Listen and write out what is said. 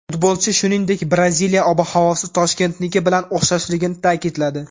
Futbolchi, shuningdek, Braziliya ob-havosi Toshkentniki bilan o‘xshashligini ta’kidladi.